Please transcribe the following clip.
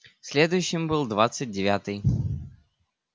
следующим был двадцать девятый